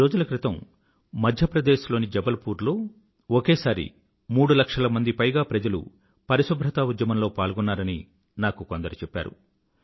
కొద్ది రోజుల క్రితం మధ్య ప్రదేశ్ లోని జబల్ పూర్ లో ఒకేసారి మూడు లక్షల పైగా ప్రజలు పరిశుభ్రతా ఉద్యమంలో పాల్గొన్నారని నాకు కొందరు చెప్పారు